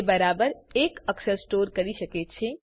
તે બરાબર એક અક્ષર સ્ટોર કરી શકે છે